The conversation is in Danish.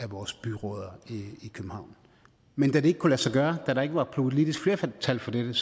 vores byrødder i københavn men da det ikke kunne lade sig gøre da der ikke var politisk flertal for dette